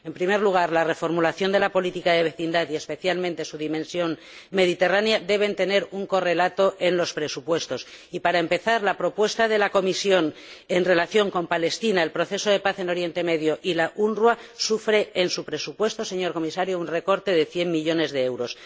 En primer lugar, la reformulación de la política de vecindad y, especialmente su dimensión mediterránea, debe tener un correlato en los presupuestos y, para empezar, la propuesta de la Comisión en relación con Palestina, el proceso de paz en Oriente Medio y la UNRWA sufre en su presupuesto, señor Comisario, un recorte de cien millones de euros.